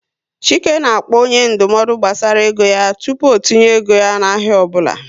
Chike na-akpọ onye ndụmọdụ gbasara ego yá tupu o tinye ego ya na ahịa ọbụla